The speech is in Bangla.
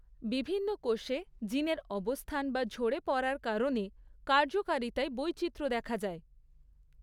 বিভিন্ন কোষে জিনের অবস্থান বা ঝরে পড়ার কারণে কার্যকারিতায় বৈচিত্র্য দেখা যায়।